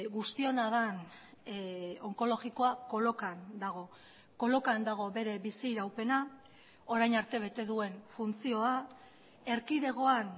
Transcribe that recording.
guztiona den onkologikoa kolokan dago kolokan dago bere biziraupena orain arte bete duen funtzioa erkidegoan